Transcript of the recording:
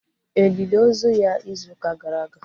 E lili ozu ya izu ụka gara aga?